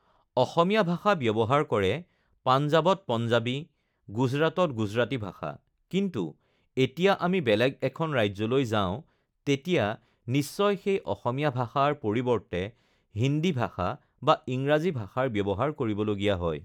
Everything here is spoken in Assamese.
অসমীয়া ভাষা ব্যৱহাৰ কৰে পাঞ্জাৱত পাঞ্জাৱী, গুজৰাটত গুজৰাটী ভাষা কিন্তু এতিয়া আমি বেলেগ এখন ৰাজ্যলৈ যাওঁ তেতিয়া নিশ্চয় সেই অসমীয়া ভাষাৰ পৰিৱৰ্তে হিন্দী ভাষা বা ইংৰাজী ভাষাৰ ব্যৱহাৰ কৰিবলগীয়া হয়